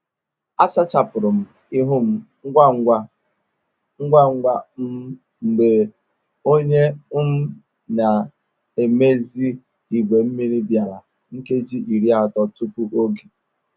A sachapụrụ m ihu m ngwa ngwa um mgbe onye um na-emezi igwe mmiri bịara nkeji iri atọ tupu oge